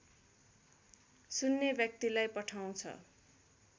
सुन्ने व्यक्तिलाई पठाउँछ